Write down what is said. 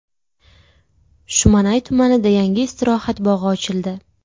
Shumanay tumanida yangi istirohat bog‘i ochildi.